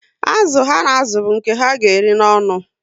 Azụ ha na azụ bu nke ha ga eri n'onu